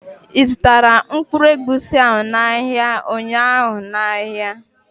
i zụtara mkpụrụ egwusi ahụ n' ahịa ụnyaahụ n' áhiá?